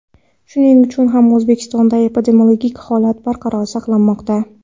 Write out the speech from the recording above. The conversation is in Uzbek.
Shuning uchun ham O‘zbekistonda epidemiologik holat barqaror saqlanmoqda.